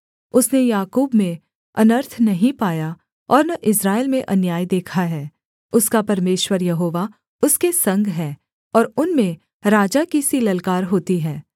उसने याकूब में अनर्थ नहीं पाया और न इस्राएल में अन्याय देखा है उसका परमेश्वर यहोवा उसके संग है और उनमें राजा की सी ललकार होती है